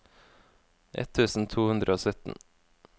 ett tusen to hundre og sytten